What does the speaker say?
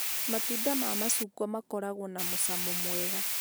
Matunda ma macungwa makoragwo na mũcomo mwega